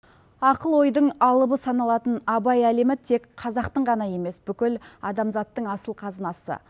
ақыл ойдың алыбы саналатын абай әлемі тек қазақтың ғана емес бүкіл адамзаттың асыл қазынасы